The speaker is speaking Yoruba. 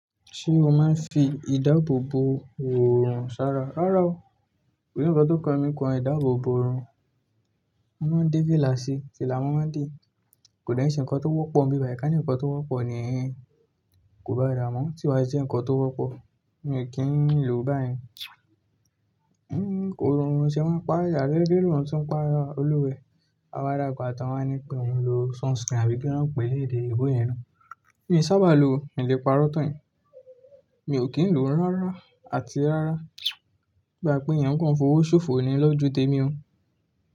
Ṣé o máa ń fi ìdáàbò bò òòrùn sára? Rárá o, kòní nkán tó kọ mí kọ ìdáàbò bò òòrùn. Wọ́n máa ń fílà sí, fìlà mọ́ má de Kò dà ẹ́ ṣe nǹkan tó wọ́pọ̀ níbi bayii, ka ni nǹkan tó wọ́pọ̀ nì ehn ehn Kò bá dà mọ́, tí wá ṣe nǹkan tó wọ́pọ̀, mi ò kí ń lò ó báyìí. Kò rọrùn, ṣe wọ́n pa Ìyálé gbé òòrùn tí ń pa olúwẹ. A won ala gba, àtàwọn eni kan o lọ sunscreen àbí kilo n pẹ́lẹ́ẹ̀dẹ́ èyinbó yẹn naa. Èmi sá bá lò ó, mi lè parọ́ tán yin Mi ò kí ń lò ó rárá àti rárá. Bí à pé ìyẹn nǹkan ìfọwọ́sọ̀fọ̀ ni lọ́ju témi o.